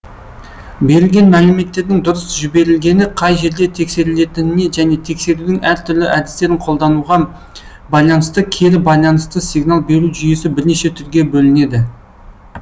берілген мәліметтердің дұрыс жіберілгені қай жерде тексерілетініне және тексерудің әр түрлі әдістерін қолдануга байланысты кері байланысты сигнал беру жүйесі бірнеше түрге бөлінеді